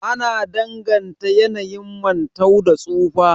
Ana danganta yanayin mantau da tsufa